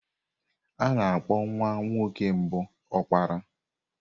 Ana-akpọ nwa nwoke mbụ Opara.